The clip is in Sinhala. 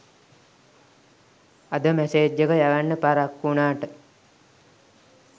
අද මැසේජ් එක යවන්න පරක්කු වුනාට